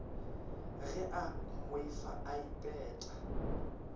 ge a mmoifa a ipeta